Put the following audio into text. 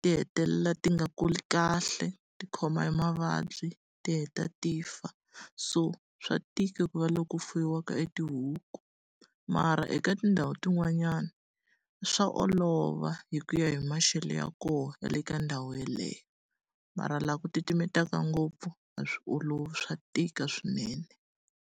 ti hetelela ti nga kuli kahle ti khoma hi mavabyi, ti heta ti fa. So swa tika ku va loko fuwiwaka e tihuku. Mara eka tindhawu to n'wanyana swa olova hi ku ya hi maxelo ya kona ya le ka ndhawu yeleyo. Mara laha ku titimelaka ngopfu, a swi olovi swa tika swinene.